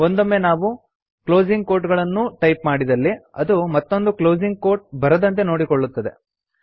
ಒಂದೊಂಮ್ಮೆ ನಾವು ಕ್ಲೋಸಿಂಗ್ ಕೋಟ್ಗಳನ್ನು ಅನ್ನೂ ಟೈಪ್ ಮಾಡಿದಲ್ಲಿ ಅದು ಮತ್ತೊಂದು ಕ್ಲೋಸಿಂಗ್ ಕೋಟ್ ಬರದಂತೆ ನೋಡಿಕೊಳ್ಳುತ್ತದೆ